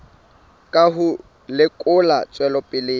ka ho lekola tswelopele ya